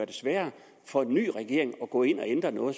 det sværere for en ny regering efterfølgende at gå ind og ændre noget